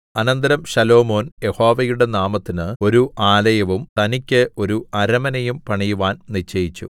അനന്തരം ശലോമോൻ യഹോവയുടെ നാമത്തിന് ഒരു ആലയവും തനിക്ക് ഒരു അരമനയും പണിയുവാൻ നിശ്ചയിച്ചു